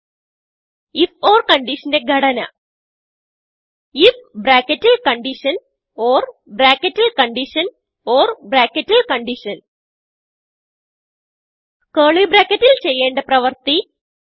if or കൺഡിഷന്റെ ഘടന if ബ്രാക്കറ്റിൽ കണ്ടീഷൻ ഓർ ബ്രാക്കറ്റിൽ കണ്ടീഷൻ ഓർ ബ്രാക്കറ്റിൽ കണ്ടീഷൻ കർലി bracketൽ ചെയ്യേണ്ട പ്രവർത്തി